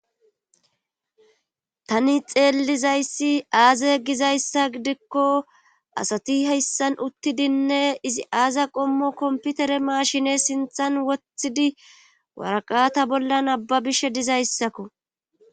Tani xeellizayssi aaze gizayssa gidikko asati heyssan uttidinne izi aaza qommo komputere maashine sinthan wothidi waraqata bollan abbabishe dizayssakko.